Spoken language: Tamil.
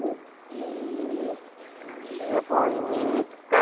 எபோ இன்னைக்கு காலைல தான் வந்தென் நானு